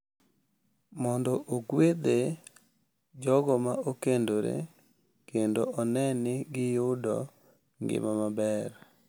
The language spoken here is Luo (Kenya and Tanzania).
Mondo ogwedhe jogo ma okendore kendo one ni giyudo ngima maber.